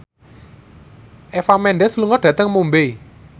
Eva Mendes lunga dhateng Mumbai